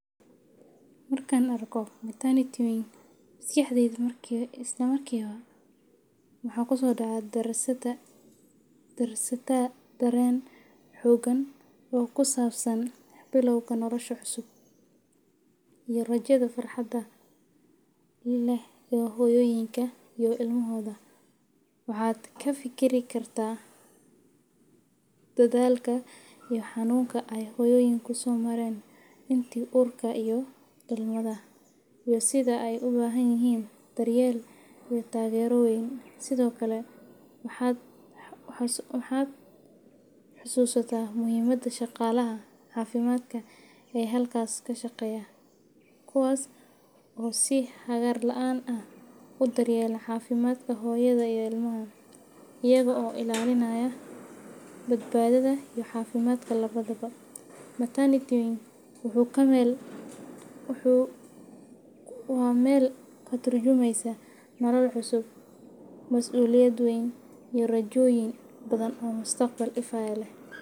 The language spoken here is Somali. Marka aad aragto maternity wing, maskaxdaadu waxay isla markiiba ku soo darsataa dareen xooggan oo ku saabsan bilowga nolosha cusub iyo rajada farxadda leh ee hooyooyinka iyo ilmahooda. Waxaad ka fikiri kartaa dadaalka iyo xanuunka ay hooyooyinku soo mareen intii uurka iyo dhalmada, iyo sida ay u baahan yihiin daryeel iyo taageero weyn. Sidoo kale, waxaad xusuusataa muhiimadda shaqaalaha caafimaadka ee halkaas ka shaqeeya, kuwaas oo si hagar la’aan ah u daryeela caafimaadka hooyada iyo ilmaha, iyaga oo ilaalinaya badbaadada iyo caafimaadka labadaba. Maternity wing-ku waa meel ka turjumaysa nolol cusub, mas’uuliyad weyn, iyo rajooyin badan oo mustaqbal ifaya leh.